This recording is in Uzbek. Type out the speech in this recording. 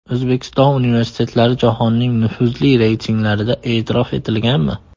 O‘zbekiston universitetlari jahonning nufuzli reytinglarida e’tirof etilganmi?